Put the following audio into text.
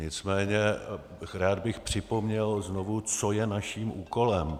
Nicméně rád bych připomněl znovu, co je naším úkolem.